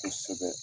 Kosɛbɛ